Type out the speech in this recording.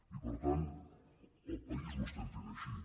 i per tant al país ho estem fent així